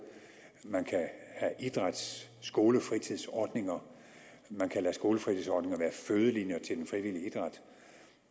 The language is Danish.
man kan have idrætsskolefritidsordninger man kan lade skolefritidsordninger være fødelinjer til den frivillige idræt